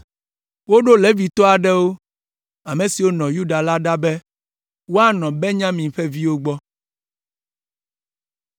Woɖo Levitɔ aɖewo, ame siwo nɔ Yuda la ɖa be woanɔ Benyamin ƒe viwo gbɔ.